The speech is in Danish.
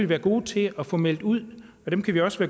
være gode til at få meldt ud og dem kan vi også